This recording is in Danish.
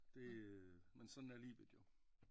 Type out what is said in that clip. Det øh men sådan er livet jo